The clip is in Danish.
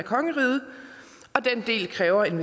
have en